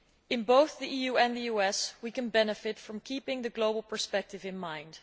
In both the EU and the US we can benefit from keeping the global perspective in mind.